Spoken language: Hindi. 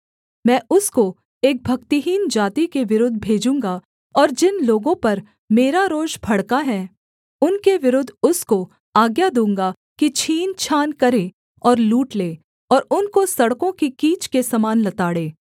मैं उसको एक भक्तिहीन जाति के विरुद्ध भेजूँगा और जिन लोगों पर मेरा रोष भड़का है उनके विरुद्ध उसको आज्ञा दूँगा कि छीनछान करे और लूट ले और उनको सड़कों की कीच के समान लताड़े